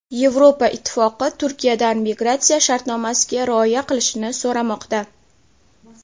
Yevropa ittifoqi Turkiyadan migratsiya shartnomasiga rioya qilishini so‘ramoqda.